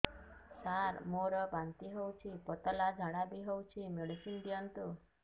ସାର ମୋର ବାନ୍ତି ହଉଚି ପତଲା ଝାଡା ବି ହଉଚି ମେଡିସିନ ଦିଅନ୍ତୁ